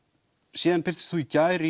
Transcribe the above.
síðan birtist þú í gær